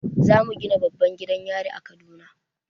Zamu gina babban gidan yari a kaduna